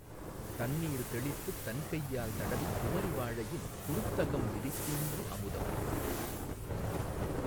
தண்ணீர் தௌித்துத் தன்கையால் தடவிக் குமரி வாழையின் குருத்தகம் விரித்தீங்கு. அமுதம்